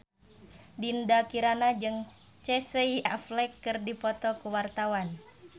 Dinda Kirana jeung Casey Affleck keur dipoto ku wartawan